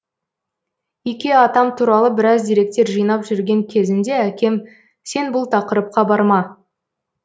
ике атам туралы біраз деректер жинап жүрген кезімде әкем сен бұл тақырыпқа барма